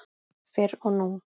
Fyrr og nú.